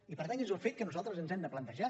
i per tant és un fet que nosaltres ens hem de plantejar